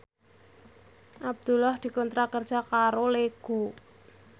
Abdullah dikontrak kerja karo Lego